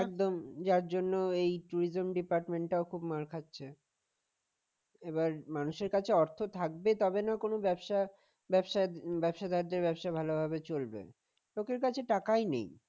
একদম যার জন্য tourism department ও খুব মার খাচ্ছে এবার মানুষের অর্থ থাকবে তবে না কোন ব্যবসা ব্যবসায় ব্যবসাদার দের ব্যবসা ভালোভাবে চলবে লোকের কাছে টাকাই নেই